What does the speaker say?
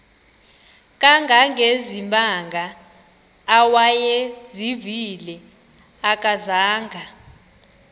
kangangezimanga awayezivile akazanga